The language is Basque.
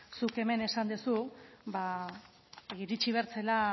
zuk hemen esan duzu iritsi behar zela